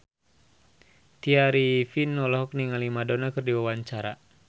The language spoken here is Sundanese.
Tya Arifin olohok ningali Madonna keur diwawancara